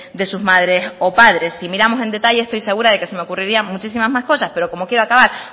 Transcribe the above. de sus madres o padres si miramos en detalle estoy segura que se me ocurrirían muchísimas más cosas pero como quiero acabar